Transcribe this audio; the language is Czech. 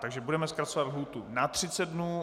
Takže budeme zkracovat lhůtu na 30 dnů.